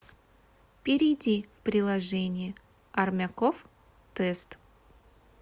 перейди в приложение армяков тест